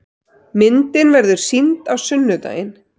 Myndin verður sýnd á sunnudaginn.